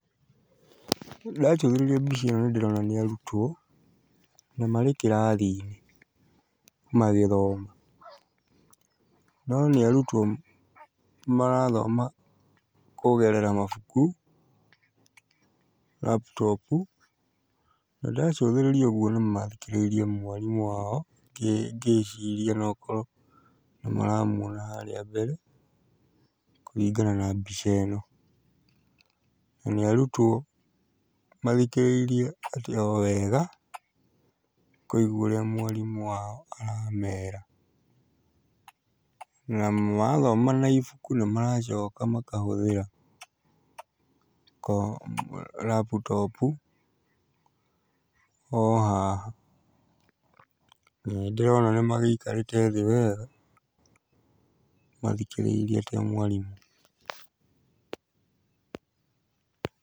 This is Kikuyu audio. Ndacũthĩrĩria mbica ĩno nĩndĩrona ni arutwo na marĩ kĩrathi-inĩ magĩthoma. No nĩ arutwo marathoma kũgerera mabuku, laptop u, na ndacũthiriria ũguo nĩ mathikĩrĩirie mwarimũ wao ngĩciria no ũkorwo nĩ maramuona harĩa mbere kũringana na mbica ĩno, na nĩ arutwo mathikĩrĩirie o wega kũigua ũrĩa mwarimũ wao aramera, na marathoma na ibuku na maracoka makahũthĩra laptop u, o haha, na nĩ ndĩrona nĩ magĩikarĩte thĩ o wega mathikĩrĩirie mwarimũ.